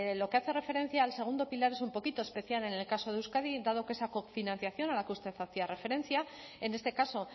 lo que hace referencia al segundo pilar es un poquito especial en el caso de euskadi dado que esa cofinanciación a la que usted hacía referencia en este caso